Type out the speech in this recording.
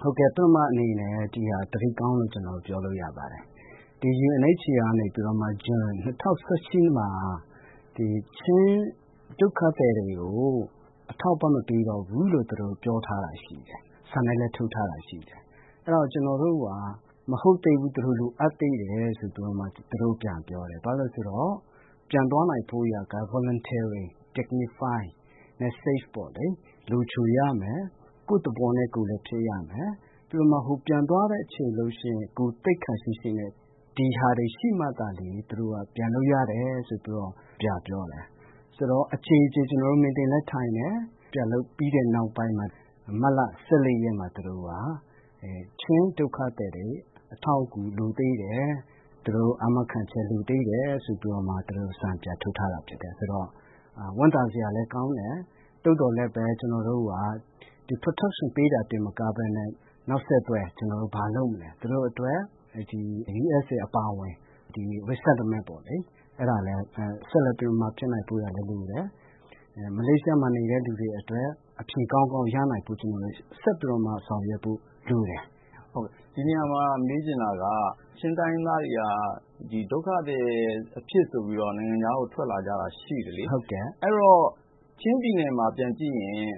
ဟုတ်ကဲ့ ပထမအနေနဲ့ ဒီဟာ သတင်းကောင်းလို့ ကျနော်ပြောလို့ရပါတယ်။ UNHCR ကနေပြီးတော့မှ ဇွန် ၂၀၁၈ မှာ ချင်းဒုက္ခသည်တွေကို အထောက်အပံ့မပေးတော့ဘူးလို့ သူတို့ပြောထားတာရှိပါတယ်။ စာနဲ့လည်းထုတ်ထားတာရှိတယ်။ အဲဒါကျနော်တို့က မဟုတ်သေးဘူး လိုအပ်သေးတယ်။ ဆိုပြီးတော့မှ သူတို့ပြန်ပြောတယ်။ ဘာဖြစ်လို့လဲဆိုတော့ သူတို့ ပြန်သွားနိုင်ဖို့အတွက်က Voluntarily dignify မက်ဆေ့ပေါ့လေ လုံခြုံရမယ်၊ ကိုယ့်သဘောနဲ့ ကိုယ်လည်းဖြစ်ရမယ်။ ပြီးတော့မှ ပြန်သွားတဲ့အချိန်ဆိုရင် ဂုဏ်သိက္ခာရှိရှိနဲ့ ဒါတွေရှိမှသာလျင် သူတို့က ပြန်လို့ရတယ်ဆိုပြီးတော့ ပြန်ပြောတယ်။ ဆိုတော့ အကြိမ်ကြိမ် ကျနော်တို့ meeting တွေလည်းထိုင်တယ်။ ပြန်လုပ်ပြီးတဲ့နောက်ပိုင်းမှာ မတ်လ ၁၄ ရက်နေ့မှာ သူတို့က ချင်းဒုက္ခသည်တွေ အထောက်အကူလိုသေးတယ်၊ သူတို့ အာမခံချက် လိုသေးတယ် ဆိုပြီးတော့ သူတို့ စာပြန်ထုတ်ထားတာဖြစ်တယ် ဆိုတော့ ဝမ်းသာစရာလည်းကောင်းတယ်။ သို့သော်လည်း ကျနော်တို့က Protection ပေးတာတင်မကပဲနဲ့ နောက်ဆက်တွဲ ကျနော်တို့ ဘာလုပ်မလဲ သူတို့အတွက် USA အပါအဝင် Resettlement ပေါ့လေ အဲဒါလည်း ဆက်လက်ဖြစ်နိုင်ဖို့အတွက်လိုတယ်။ မလေးရှားမှာ နေတဲ့လူတွေအတွက် အဖြေကောင်းကောင်းရနိုင်ဖို့အတွက် ဆောင်ရွက်ဖို့လိုတယ်။ ဒီနေရာမှာ မေးချင်တာက ချင်းတိုင်းရင်းသားတွေက ဒုက္ခသည်အဖြစ်ဆိုပြီးတော့ နိုင်ငံခြားကို ထွက်လာကြတာရှိတယ်လေ။ အဲဒီတော့ ချင်းပြည်နယ်မှာ ပြန်ကြည့်ရင်